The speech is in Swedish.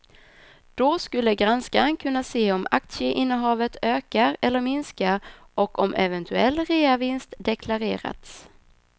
Då skulle granskaren kunna se om aktieinnehavet ökar eller minskar och om eventuell reavinst deklarerats.